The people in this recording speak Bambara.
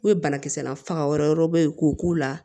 O ye banakisɛ na faga yɔrɔ wɛrɛ ye k'o k'u la